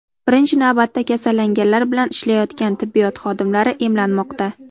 Birinchi navbatda kasallanganlar bilan ishlayotgan tibbiyot xodimlari emlanmoqda.